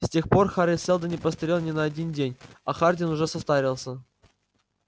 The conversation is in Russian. с тех пор хари сэлдон не постарел ни на один день а хардин уже состарился